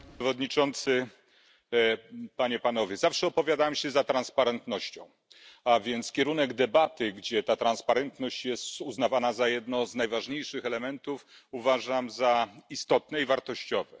Panie Przewodniczący! Zawsze opowiadałem się za transparentnością, a więc kierunek debaty, gdzie ta transparentność jest uznawana za jeden z najważniejszych elementów, uważam za istotny i wartościowy.